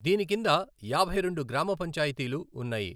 దీని కింద యాభై రెండు గ్రామ పంచాయతీలు ఉన్నాయి.